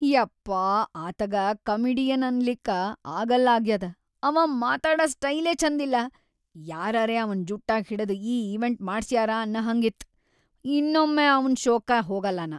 ಯಪ್ಪಾ ಆತಗ ಕಾಮಿಡಿಯನ್‌ ಅನ್ಲಿಕ್ಕ ಆಗಲ್ಲಾಗ್ಯಾದ ಅವಾ ಮಾತಾಡ ಸ್ಟೈಲೇ ಛಂದಿಲ್ಲಾ, ಯಾರರೇ ಅವನ್ ಜುಟ್ಟಾ ಹಿಡದ್‌ ಈ ಇವೆಂಟ್‌ ಮಾಡ್ಸ್ಯಾರ ಅನ್ನಹಂಗ್ ಇತ್.‌ ಇನ್ನೊಮ್ಮ್ ಅವ್ನ್ ಷೋಕ್ಕ ಹೋಗಲ್ಲ ನಾ.